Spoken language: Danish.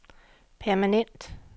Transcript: permanent